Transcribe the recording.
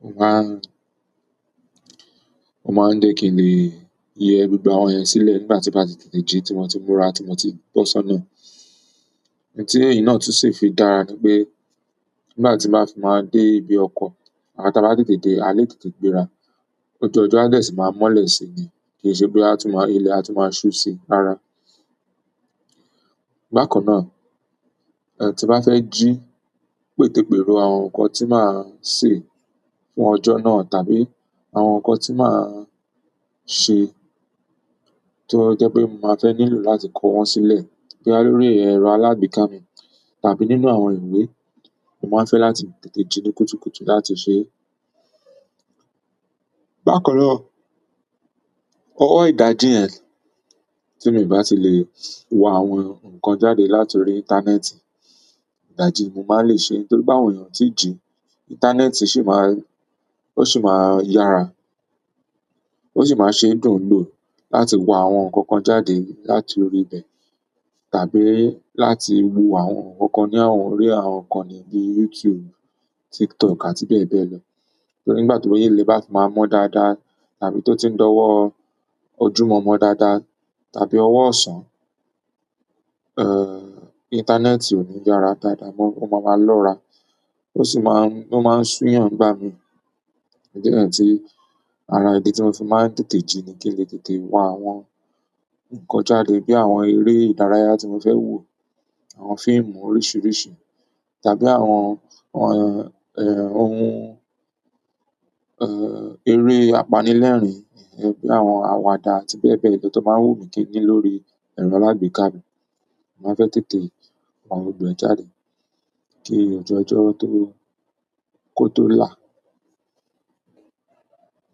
Mo máa, mo máa ń jẹ̀ kí n lè yẹ gbogbo àwọn yẹn sílẹ̀ nígbà tí bá ti tètè jí tí wọn ti múra tí mo ti bọ́ sọ́nà. Nkan tì yí náà tún sì fi dára ni pé nígbà tí màá fi máa dé ibi ọkọ̀ à tàbá tètè dé alẹ́ tètè gbéra. Ojú ọjọ a dẹ́ ṣì máa mọ́lẹ̀ si ni. Kì í ṣe pé a tún máa ilẹ̀ a tún máa ṣú sí rara. Bákan náà, eh, tí bá fẹ́ jí pètepèró àwọn nǹkan tí màá sè fún ọjọ́ náà tàbí àwọn nǹkan tí màá ṣe tó jẹ́ pé mo máa fẹ́ nílò láti kó wọn sílẹ̀ bí i lórí ẹ̀rọ alágbèéká mi tàbí nínú àwọn ìwé, mo máa fẹ́ láti tètè jí ní kùtùkùtù láti ṣe é. Bákan náà, ọ̀wọ́ ìdájí yẹn tí mo ì bá ti lè wá àwọn nǹkan jáde látòrí íńtánẹ́ẹ̀tì, ìdájí mo máa lè ṣe é nítorí pe àwọn èèyàn tí jí, íńtánẹ́ẹ̀tì sì máa, ó sì máa yára. Ó sì máa ṣe dùn lò láti wá àwọn nǹkan kan jáde látòrí bẹ̀ tàbí láti wo àwọn nǹkan kan ní àwọn eré, àwọn ǹkan níbí YouTube, TikTok àti bẹ́ẹ̀ bẹ́ẹ̀ lọ. Torí nígbà tí ilẹ bá fi máa mọ dáadáa àbí to tí ń dọwọ ojúmọ̀ọ́mọ́ dáadáa tàbí ọwọ́ ọ̀sán, eh, íńtánẹ́ẹ̀tì ò ní yára dáadáa mọ́. Ó máa ma lọ́ra. O sì máa ń ṣu èèyàn nígbà mí. Ìdí náà tí ara ìdí tí mo fi máa ń tètè jí ni kí n lè tètè wá àwọn nǹkan jáde bí i àwọn eré ìdárayá tí mo fẹ́ wò, àwọn fíìmù oríṣiríṣi tàbí àwọn, àwọn, eh, ohun, eh, eré apanilẹ́rìn-ín, eh, bíi àwọn àwàdà àti bẹ́ẹ̀ bẹ́ẹ̀ lọ tó máa ń wù mí kí n ní lórí ẹ̀rọ alágbèéká mi. Mo máa fẹ́ tètè wá gbogbo ẹ jáde kí ọjuọjọ́ tó kó tó là.